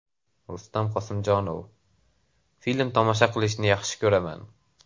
Rustam Qosimjonov: Film tomosha qilishni yaxshi ko‘raman.